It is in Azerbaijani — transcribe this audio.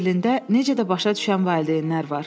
Berlində necə də başa düşən valideynlər var!